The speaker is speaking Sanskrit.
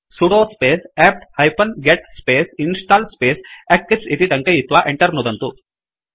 sudo space APT hyphen get space install space eclipse इति टङ्कयित्वा Enter नुदन्तु